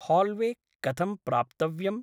Hallway कथं प्राप्तव्यम्?